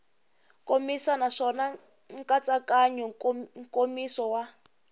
nkomiso naswona nkatsakanyo nkomiso wa